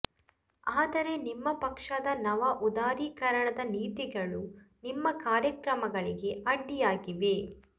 ಆದರೆ ನಿಮ್ಮ ಪಕ್ಷದ ನವ ಉದಾರೀಕರಣದ ನೀತಿಗಳು ನಿಮ್ಮ ಕಾರ್ಯಕ್ರಮಗಳಿಗೆ ಅಡ್ಡಿಯಾಗಿವೆ